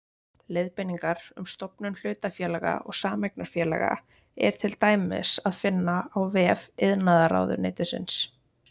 Leiðbeiningar um stofnun hlutafélaga og sameignarfélaga er til dæmis að finna á vef iðnaðarráðuneytisins.